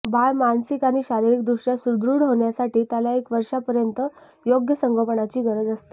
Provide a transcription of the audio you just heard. बाळ मानसिक आणि शारीरिकदृष्ट्या सुदृढ होण्यासाठी त्याला एक वर्षापर्यंत योग्य संगोपनाची गरज असते